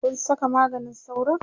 Kun Saka maganin sauron?